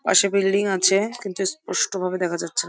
পাশে বিল্ডিং আছে কিন্তু স্পষ্ট ভাবে দেখা যাচ্ছে।